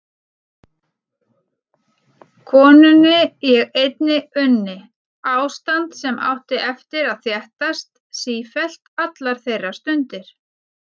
Konunni ég einni unni: Ástand sem átti eftir að þéttast sífellt allar þeirra stundir.